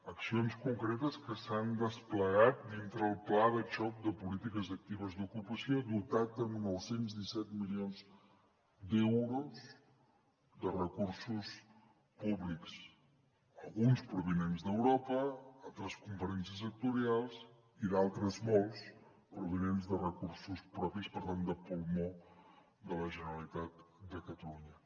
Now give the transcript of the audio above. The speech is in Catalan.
accions concretes que s’han desplegat dintre el pla de xoc de polítiques actives d’ocupació dotat amb nou cents i disset milions d’euros de recursos públics alguns provinents d’europa altres de conferències sectorials i d’altres molts provinents de recursos propis per tant de pulmó de la generalitat de catalunya